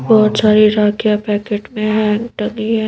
बहुत सारी राखियाँ पैकेट में हैं टंगी हैं।